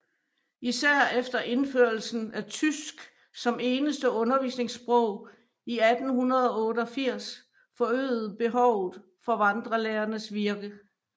Især efter indførelsen af tysk som eneste undervisningssprog i 1888 forøgede behovet for vandrelærernes virke